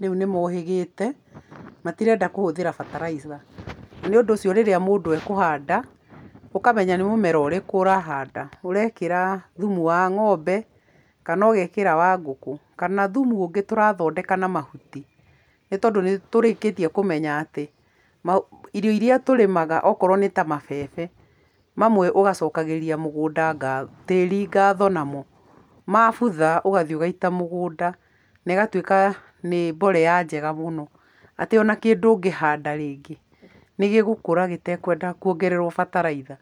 Rĩu nĩmohĩgĩte, matirenda kũhũthira bataraitha. Nĩũndũ ũcio rĩrĩa mũndũ ekuhanda, ũkamenya nĩ mũmera ũrĩkũ ũrahanda. Ũrekĩra thumu wa ng'ombe, kana ũgekĩra wa ngũkũ, kana thumu ũngĩ tũrathondeka na mahuti. Nĩ tondũ nĩtũrĩkĩtie kũmenya atĩ, irio iria tũrĩmaga okorwo nĩ ta mabebe, mamwe ũgacokagĩria mũgũnda ngatho, tĩĩri ngatho namo. Mabutha ũgathiĩ ũgaita mũgũnda, na ĩgatuĩka nĩ mborea njega mũno. Atĩ ona kĩndũ ũngĩhanda rĩngĩ nĩgĩgũkũra gĩtekwenda kuongererwo bataraitha.